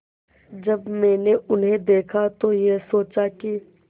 जब मैंने उन्हें देखा तो ये सोचा कि